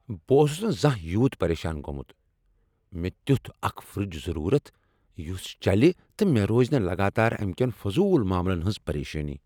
بہٕ اوسُس نہٕ زانہہ یوٗت پریشان گومُت ۔ مے٘ تِیوٗتھ اكھ فر٘ج ضروٗرت یُس چلہِ تہٕ مے٘ روزِ نہٕ لگاتار امہِ كین فضوٗل ماملن ہنز پریشٲنی ۔